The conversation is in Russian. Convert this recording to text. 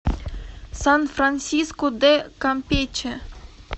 сан франсиско де кампече